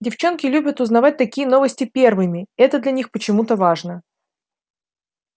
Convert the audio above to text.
девчонки любят узнавать такие новости первыми это для них почему-то важно